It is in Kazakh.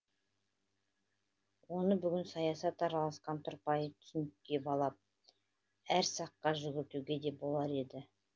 оны бүгін саясат араласқан тұрпайы түсінікке балап әр саққа жүгіртуге де болар еді